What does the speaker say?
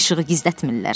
İşığı gizlətmirlər.